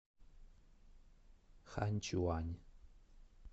ханьчуань